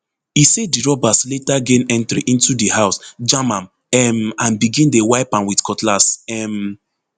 e say di robbers later gain entry into di house jam am um and begin dey wipe am with cutlass um